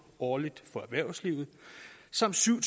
årligt for erhvervslivet samt syv